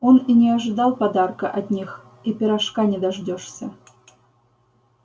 он и не ожидал подарка от них и пирожка не дождёшься